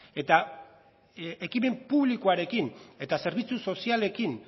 eta ekimen publikoarekin eta zerbitzu sozialekin